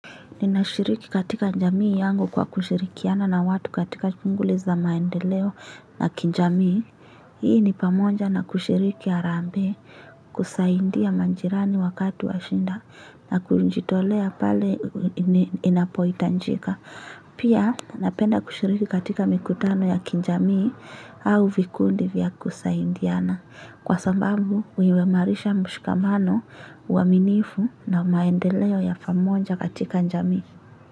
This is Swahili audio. Ninashiriki katika njamii yangu kwa kushirikiana na watu katika shunguli za maendeleo na kinjamii. Hii ni pamoja na kushiriki harambee, kusaindia manjirani wakatu wa shinda na kunjitolea pale inapoitanjika. Pia napenda kushiriki katika mikutano ya kinjamii au vikundi vya kusaindiana. Kwa sambambu, huimarisha mushikamano waminifu na maendeleo ya pamonja katika njamii.